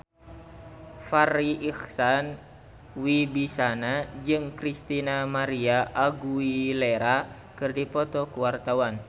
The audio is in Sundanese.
Farri Icksan Wibisana jeung Christina María Aguilera keur dipoto ku wartawan